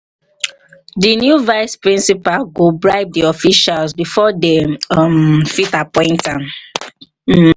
the new vice principal go bribe the officials before they um fit appoint am um